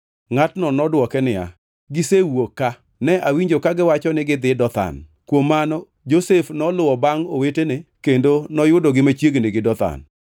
Ngʼatno nodwoke niya, “Gisewuok ka. Ne awinjo kagiwacho ni gidhi Dothan.” Kuom mano Josef noluwo bangʼ owetene kendo noyudogi machiegni gi Dothan.